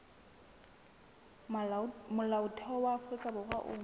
molaotheo wa afrika borwa o